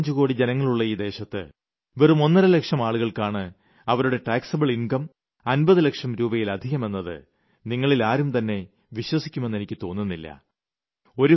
125 കോടി ജനങ്ങളുള്ള ഈ ദേശത്ത് വെറും ഒന്നര ലക്ഷം ആളുകൾക്കാണ് അവരുടെ നികുതി വിധേയമായ വരുമാനം 50 ലക്ഷം രൂപയിലധികമെന്നത് നിങ്ങളിൽ ആരുംതന്നെ വിശ്വസിക്കുമെന്ന് തോന്നുന്നില്ല